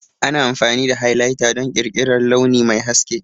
Ana amfani da Highlighter don ƙirƙirar launi mai haske.